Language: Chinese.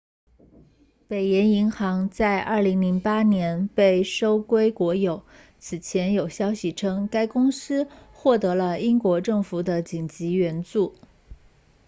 北岩银行在2008年被收归国有此前有消息称该公司获得了英国政府的紧急援助